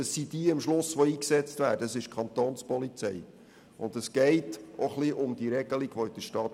Schliesslich wird nämlich die Kapo eingesetzt.